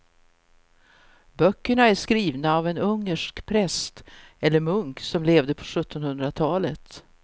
Böckerna är skrivna av en ungersk präst eller munk som levde på sjuttonhundratalet.